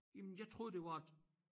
Jamen jeg troede det var et